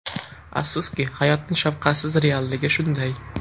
Afsuski, hayotning shafqatsiz realligi shunday.